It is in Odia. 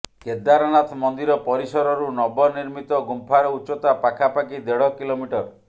କେଦାରନାଥ ମନ୍ଦିର ପରିସରରୁ ନବନିର୍ମିତ ଗୁମ୍ଫାର ଉଚ୍ଚତା ପାଖାପାଖି ଦେଢ କିଲୋମିଟର